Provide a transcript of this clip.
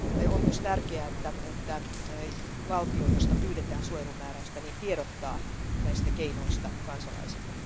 On myös tärkeää, että valtio, josta pyydetään suojelumääräystä, tiedottaa näistä keinoista kansalaisille.